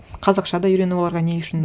қазақша да үйрену оларға не үшін